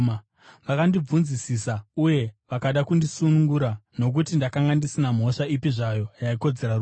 Vakandibvunzisisa uye vakada kundisunungura, nokuti ndakanga ndisina mhosva ipi zvayo yaikodzera rufu.